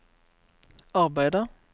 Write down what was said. arbeider